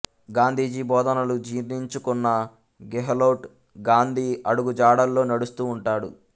గాంధీజీ బోధనలు జీర్ణించుకున్న గెహ్లోట్ గాంధీ అడుగుజాడల్లో నడుస్తూ ఉంటాడు